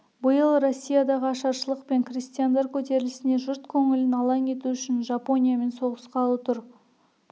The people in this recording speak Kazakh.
биыл россиядағы ашаршылық пен крестьяндар көтерілісіне жұрт көңілін алаң ету үшін жапониямен соғысқалы тұр